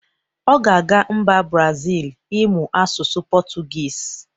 Ọ ga-aga mba brazil ịmụ asụsụ pọtugiz